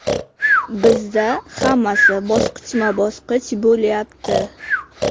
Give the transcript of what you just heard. Bizda hammasi bosqichma-bosqich bo‘lyapti.